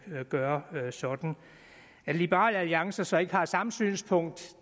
gøre sådan at liberal alliances så ikke har samme synspunkt